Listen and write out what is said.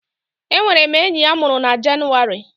Enwere m enyi a mụrụ na Jenụwarị